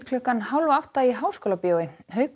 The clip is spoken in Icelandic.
klukkan hálf átta í Háskólabíói haukur